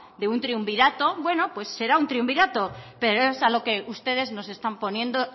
de un triunvirato bueno pues será un triunvirato pero es a lo que ustedes nos están poniendo